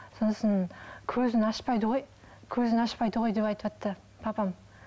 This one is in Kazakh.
сосын көзін ашпайды ғой көзін ашпайды ғой деп айтыватты папам